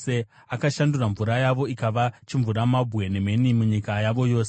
Akashandura mvura yavo ikava chimvuramabwe, nemheni munyika yavo yose;